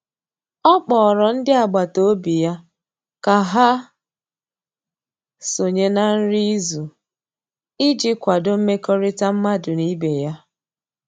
ọ kpọrọ ndi agbata obi ya ka ha sonye na nri izu iji kwado mmekorita madu n'ibe ya